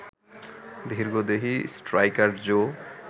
দীর্ঘদেহী striker Joe